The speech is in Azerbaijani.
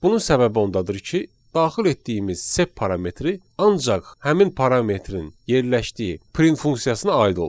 Bunun səbəbi ondadır ki, daxil etdiyimiz sep parametri ancaq həmin parametrın yerləşdiyi print funksiyasına aid olur.